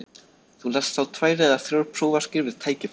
Þú lest þá tvær eða þrjár prófarkir við tækifæri.